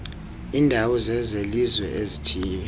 iindawo zezelizwe ezithiywe